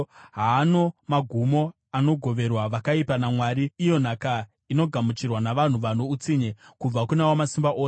“Haano magumo anogoverwa vakaipa naMwari, iyo nhaka inogamuchirwa navanhu vano utsinye, kubva kuna Wamasimba Ose.